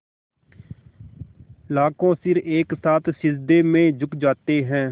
लाखों सिर एक साथ सिजदे में झुक जाते हैं